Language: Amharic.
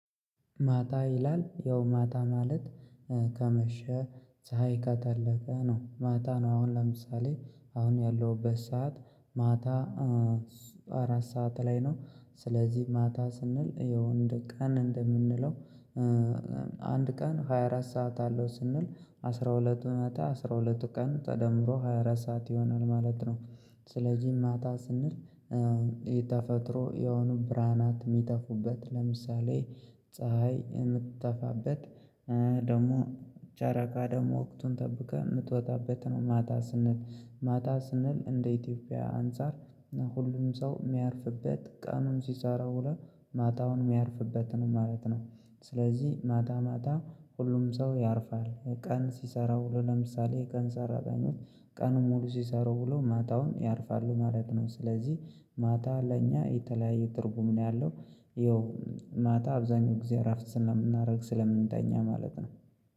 ማታ ይላል ያው ማታ ማለት ከመሸ ፀሀይ ከጠለቀ ነው። ማታ ነው አሁን ለምሳሌ አሁን ያለሁበት ሰዓት ማታ አራት ሰዓት ላይ ነው ስለዚህ ማታ ስንል ያው ቀን እንደምንለው አንድ ቀን ሃያ አራት ሰዓት አለው ስንል አስራ ሁለቱ ማታ አስራ ሁለቱ ቀን ተደምሮ ሃያ አራት ሰዓት ይሆናል ማለት ነው። ስለዚህ ማታ ስንል የተፈጥሮ የሆኑ ብርሃናት የሚጠፉበት ለምሳሌ ፀሀይ ምትጠፋበት ደግሞ ጨረቃ ደግሞ ወቅቱን ጠብቃ ምትወጣበት ነው ማታ ስንል ማታ ስንል እንደ ኢትዮጵያ አንፃር ሁሉም ሰው የሚያርፍበት ቀኑን ሲሰራ ውሎ ማታውን ሚያርፍበት ነው ማለት ነው። ስለዚህ ማታ ማታ ሁሉም ሰው ያርፋል። ቀን ሲሰራ ውሎ ለምሳሌ የቀን ሰራተኞች ቀን ሙሉ ሲሰሩ ውለው ማታውን ያርፋሉ ማለት ነው። ስለዚህ ማታ ለእኛ የተለያየ ትርጉም ነው ያለው ይኸው ማታ አብዛኛው ጊዜ እረፍት ስለምናደርግ ስለምንተኛ ማለት ነው።